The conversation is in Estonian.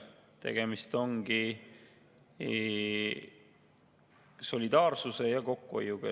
Tegemist on solidaarsuse ja kokkuhoiuga.